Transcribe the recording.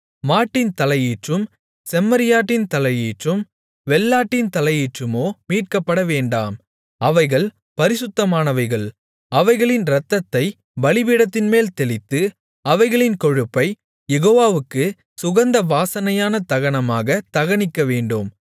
மாட்டின் தலையீற்றும் செம்மறியாட்டின் தலையீற்றும் வெள்ளாட்டின் தலையீற்றுமோ மீட்கப்படவேண்டாம் அவைகள் பரிசுத்தமானவைகள் அவைகளின் இரத்தத்தைப் பலிபீடத்தின்மேல் தெளித்து அவைகளின் கொழுப்பைக் யெகோவாவுக்குச் சுகந்த வாசனையான தகனமாகத் தகனிக்கவேண்டும்